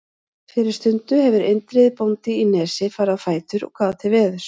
Fyrir stundu hefur Indriði bóndi í Nesi farið á fætur og gáð til veðurs.